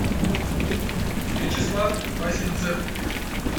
вячеслав васинцев